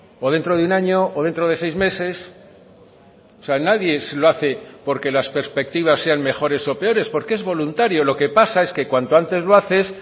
o dentro de un año o dentro de seis meses o sea nadie lo hace porque las perspectivas sean mejores o peores porque es voluntario lo que pasa es que cuanto antes lo haces